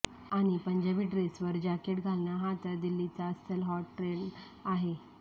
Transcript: आणि पंजाबी डेसवर जॅकेट घालणं हा तर दिल्लीचा अस्सल हॉट ट्रेण्ड आहे